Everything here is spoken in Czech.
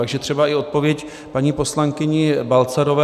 Takže třeba i odpověď paní poslankyni Balcarové.